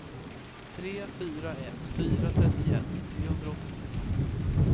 tre fyra ett fyra trettioett trehundraåttiotvå